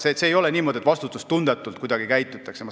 See ei ole nii, et käitutakse kuidagi vastutustundetult.